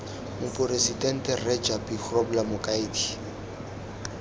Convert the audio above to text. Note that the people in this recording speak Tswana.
moporesidente rre japie grobler mokaedi